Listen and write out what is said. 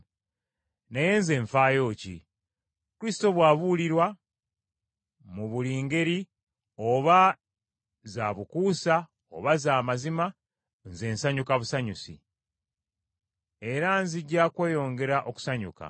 Naye nze nfaayo ki? Kristo bw’abuulirwa, mu buli ngeri, oba za bukuusa oba za mazima, nze nsanyuka busanyusi. Era nzija kweyongera okusanyuka.